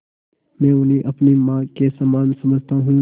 मैं उन्हें अपनी माँ के समान समझता हूँ